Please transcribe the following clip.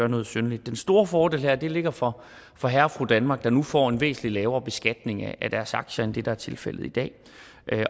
noget synderligt den store fordel her ligger for for herre og fru danmark der nu får en væsentlig lavere beskatning af deres aktier end det der er tilfældet i dag